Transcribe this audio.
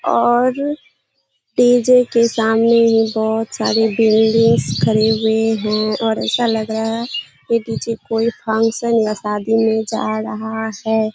और डी.जे. के सामने बहुत सारे बिल्डिंग्स खड़ी हुए हैं और ऐसा लग रहा है पीछे कोई फंक्शन या शादी में जा रहा है।